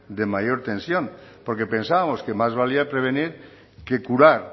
de mayor tensión porque pensábamos que más valía prevenir que curar